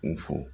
U fo